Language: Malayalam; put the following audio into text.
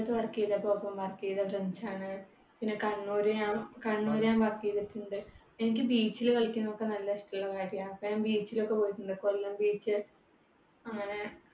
കൊല്ലത്ത് work ചെയ്തപ്പോ ഒപ്പം work ചെയ്ത friends ആണ്. പിന്നെ കണ്ണൂര് ഞാൻ കണ്ണൂർ ഞാൻ work ചെയ്‌തിട്ടുണ്ട്‌. എനിക്ക് beach ൽ കളിക്കുന്നതൊക്കെ നല്ല ഇഷ്ടള്ള കാര്യാ. അപ്പൊ ഞാൻ beach ലോക്കെ പോയിട്ടുണ്ട് കൊല്ലം beach